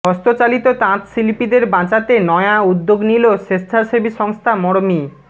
হস্তচালিত তাঁতশিল্পীদের বাঁচাতে নয়া উদ্যোগ নিলো স্বেচ্ছাসেবী সংস্থা মরমী